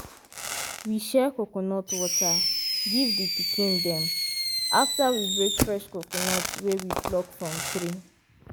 we share coconut water give the pikin dem after we break fresh coconut wey we pluck from tree.